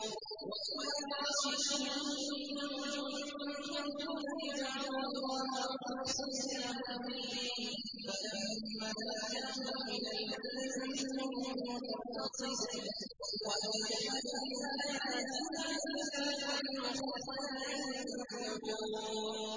وَإِذَا غَشِيَهُم مَّوْجٌ كَالظُّلَلِ دَعَوُا اللَّهَ مُخْلِصِينَ لَهُ الدِّينَ فَلَمَّا نَجَّاهُمْ إِلَى الْبَرِّ فَمِنْهُم مُّقْتَصِدٌ ۚ وَمَا يَجْحَدُ بِآيَاتِنَا إِلَّا كُلُّ خَتَّارٍ كَفُورٍ